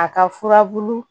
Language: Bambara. A ka furabulu